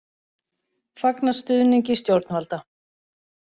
Fagna stuðningi stjórnvalda